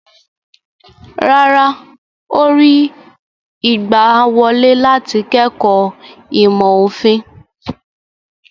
Rárá, ó rí ìgbàwọlé láti kẹ́kọ̀ọ́ ìmọ̀-òfin.